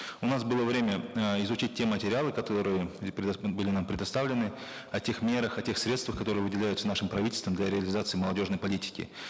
у нас было время э изучить те материалы которые были нам предоставлены о тех мерах о тех средствах которые выделяются нашим правительством для реализации молодежной политики